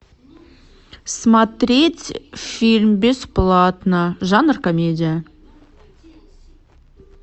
смотреть фильм бесплатно жанр комедия